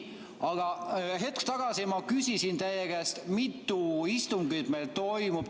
Aga hetk tagasi ma küsisin teie käest, mitu istungit meil toimub.